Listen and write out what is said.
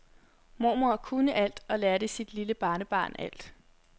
Mormor kunne alt og lærte sit lille barnebarn alt.